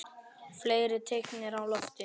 Fleiri teikn eru á lofti.